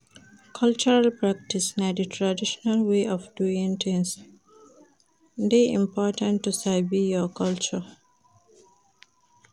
Cultural practice na di traditional way of doing things de important to sabi your culture